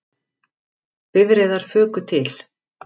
Bifreiðar fuku til